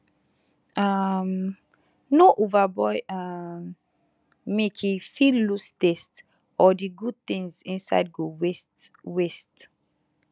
um no overboil um milke fit lose taste or the good things inside go waste waste